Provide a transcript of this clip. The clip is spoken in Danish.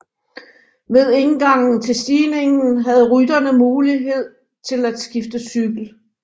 Ved indgangen til stigningen havde rytterne mulighed til at skifte cykel